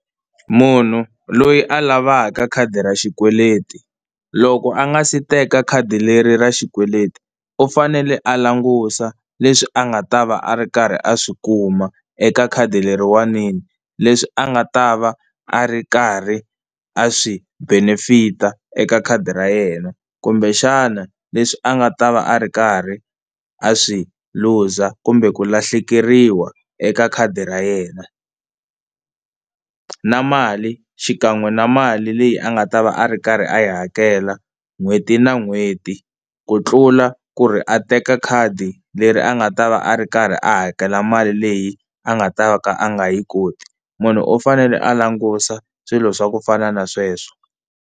Munhu loyi a lavaka khadi ra xikweleti loko a nga si teka khadi leri ra xikweleti u fanele a langusa leswi a nga ta va a ri karhi a swi kuma eka khadi leriwanini, leswi a nga ta va a ri karhi a swi benefit-a eka khadi ra yena kumbexana leswi a nga ta va a ri karhi a swi lose kumbe ku lahlekeriwa eka khadi ra yena. Na mali xikan'we na mali leyi a nga ta va a ri karhi a yi hakela n'hweti na n'hweti ku tlula ku ri a teka khadi leri a nga ta va a ri karhi a hakela mali leyi a nga ta va a nga yi koti. Munhu u fanele a langusa swilo swa ku fana na sweswo.